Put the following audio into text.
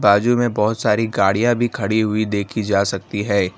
बाजू में बहोत सारी गाड़ियां भी खड़ी हुई देखी जा सकती है।